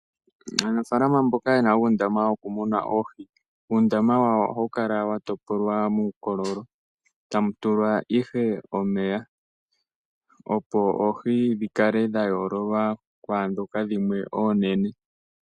Aanafalama mboka yena uundama wokumuna oohi ,uundama wawo ohawu kala wa topolwa muukololo tamu tulwa ihe omeya opo oohi dhi kale dha yoololwa kwaadhoka dhimwe oonene.